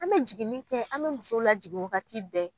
An bɛ jiginin kɛ, an bɛ musow lajigin wagati bɛɛ